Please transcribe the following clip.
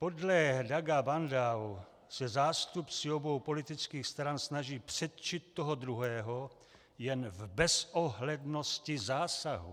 Podle Douga Bandow se zástupci obou politických stran snaží předčit toho druhého jen v bezohlednosti zásahu.